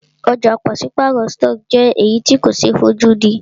Ọ̀jà pàṣípàrọ̀ stọọkí jẹ́ èyí tí ko ṣe é fojúdí.